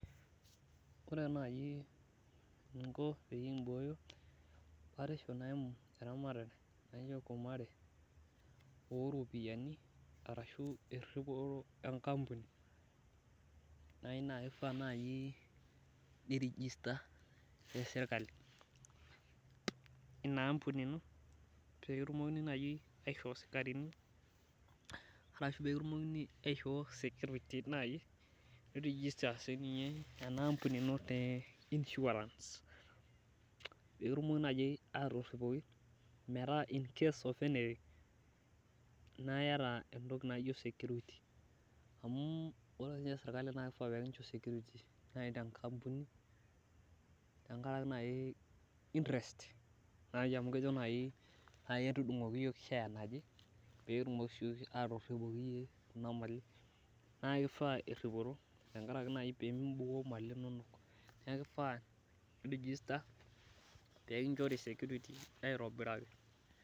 Ore naaji eninko pee ebooyo batisho naimu eramatare oropiyiani ashu eripoto ankampuni naa kifaa naaji nirigister tesirkali ina ampuni ino pee kitumokini naji aishoo sikarini, arashu pee kitumokini naaji aishoo security, nikitumokini aishoo naaji ana ampuni ino te insurance. Nikitumokini naaji otoripoki metaa in case of anything, naa iyata security, amu ore siininye sirkali naa kifaa pee kincho security, naaji tenkampuni tenkaraki naaji interest amu kejo naaji entudungoki yiok share naje pee kitumoki siiyiok atoripoki yie kuna mali. Naa kifaa eripoto tenkaraki naaji pee mimbukoo mali inonok. Neeku kifaa nirigister pee kinchori security aitobiraki.